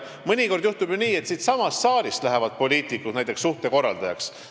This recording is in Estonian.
Mõnikord juhtub ju nii, et siitsamast saalist lähevad poliitikud näiteks suhtekorraldajaks.